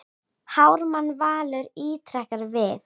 Ármann Valur ítrekar við